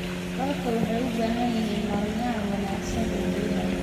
Waraabka wuxuu u baahan yahay maarayn wanaagsan oo biyaha ah.